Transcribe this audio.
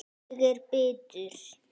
Ég er bitur.